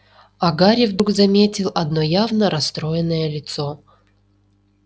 а гарри вдруг заметил одно явно расстроенное лицо